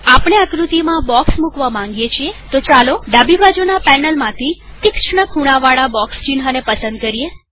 આપણે આકૃતિમાં બોક્ષ મૂકવા માંગીએ છીએતો ચાલો ડાબી બાજુના પેનલમાંથી તીષ્ણ ખૂણાવાળા બોક્ષ ચિન્હ ને પસંદ કરીએ